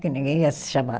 Que ninguém ia se chamar.